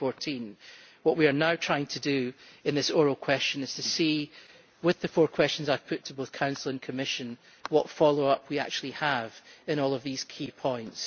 2014. What we are now trying to do in this oral question is to see, with the four questions I have put to both Council and Commission, what follow up we actually have on all of these key points.